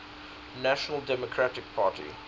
national democratic party